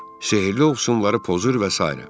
Sehrli ovsunları pozur və sairə.